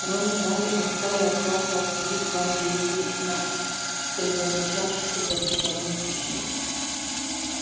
рон и гарри отстали от класса обсудить план действий на предназначавшийся для посторонних ушей